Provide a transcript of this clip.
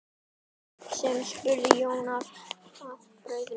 spurði Jón að bragði.